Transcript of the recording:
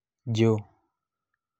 jo